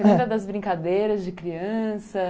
Ãh, você lembra das brincadeiras de criança?